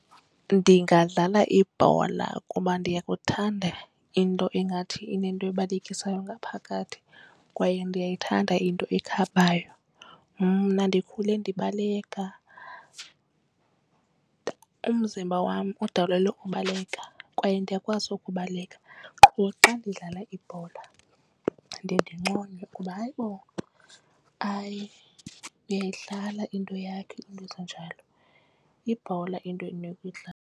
Ndingadlala ibhola kuba ndiyakuthanda into engathi inento ebalekisayo ngaphakathi kwaye ndiyayithanda into ekhabanayo. Mna ndikhule ndibaleka umzimba wam udalelwe ubaleka kwaye ndiyakwazi ukubaleka. Qho xa ndidlala ibhola ndiye ndinconywe ukuba hayibo, hayi uyayidlala into yakho iinto ezinjalo yibhola into endinokuyidlala.